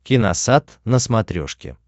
киносат на смотрешке